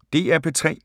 DR P3